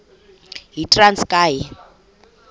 yitranskayi